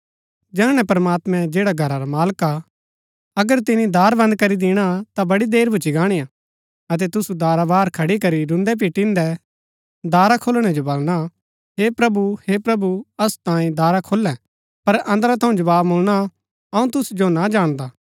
जैहणै प्रमात्मां जैड़ा घरा रा मालका हा अगर तिनी दार बन्द करी दिणा ता बड़ी देर भूच्ची गाणीआ अतै तुसु दारा बाहर खड़ी करी रून्दै पिटिन्‍दै दारा खोलणै जो बलणा हे प्रभु हे प्रभु असु तांई दारा खोल्‍लै पर अन्दरा थऊँ जवाव मुळना अऊँ तुसु जो ना जाणदा